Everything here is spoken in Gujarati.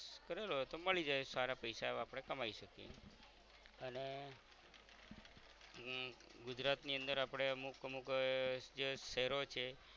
કરેલો હોય તો મળી જાઈ સારા પૈસા એવા આપણે કમાઇ શકીએ અને હમ ગુજરાતની અંદર આપણે અમુક અમુક આહ જે શહેરો છે